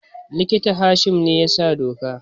Likita Hashim ne ya sa doka